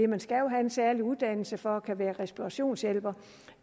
man skal jo have en særlig uddannelse for at være respirationshjælper